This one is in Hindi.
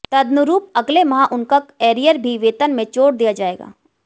तदनुरूप अगले माह उनका एरियर भी वेतन में जोड़ कर दिया जाएगा